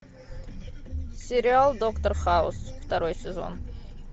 сериал доктор хаус второй сезон